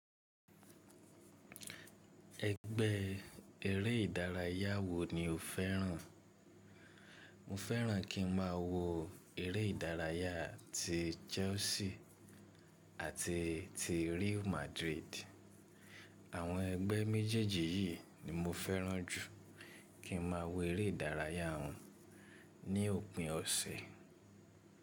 Ẹgbẹ́ eré ìdárayá wo ni o fẹ́ràn? Mo fẹ́ràn kí n má a wo eré ìdárayá ti Chelsea àti ti Real Madrid. Àwọn ẹgbẹ́ méjèèjì yìí ni mo fẹ́ràn jù kí n máa wo eré ìdárayá wọn ní òpin ọ̀sẹ̀.